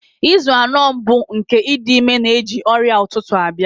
Izu anọ mbụ nke ịdị ime na-eji ọrịa ụtụtụ abịa.